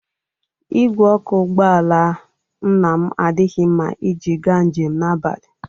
Igwe ọkụ ụgbọala Nnam adịghị mma iji gaa njem na abalị.